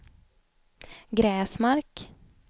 Gräsmark